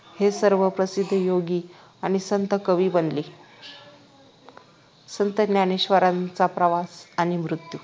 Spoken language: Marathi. हे सर्व प्रसिद्ध योगी आणि संत कवी बनले संत ज्ञानेश्वरांचा प्रवास आणि मृत्यू